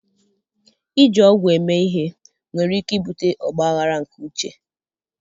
Iji ọgwụ eme ihe nwere ike ibute ọgba aghara nke uche.